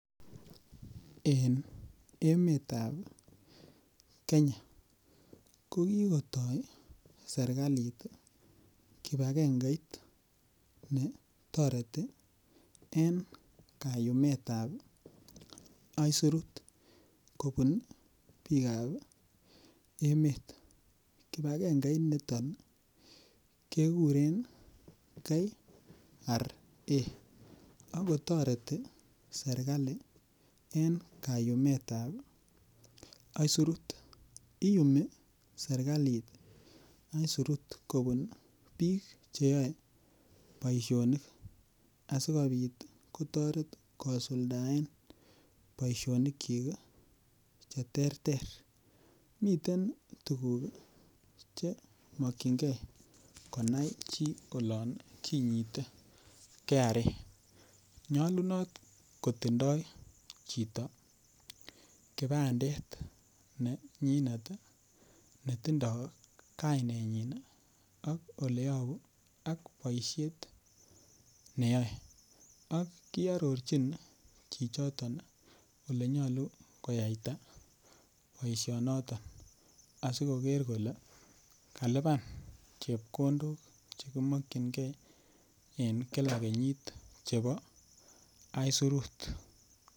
En emetab kenya ko kikoto sirkalit kipagengeit netoreti en kayumetab isurut kobut bikab emet. Kipagenge niton kekuren KRA akotoreti serkali en kayumetab isurut iyumi sirkalit isurut kobut bik cheyoe boishonik asikopit kotoret kosuldaen boishonik chik kii cheterter. Miten tukuk kii chemokingee konai chii olon kinyiti KRA nyolunot kotindo chito kipandet nenyinet tii netindo kainenyin ak oleyobu ak boishnet neyoe ak kiorurji chichito olenyolu koyaita boishonoton asikoker kole kaliban chekondok chekimokingee en kila kenyit chebo isurut.